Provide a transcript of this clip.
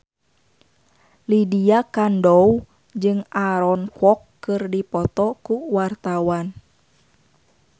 Lydia Kandou jeung Aaron Kwok keur dipoto ku wartawan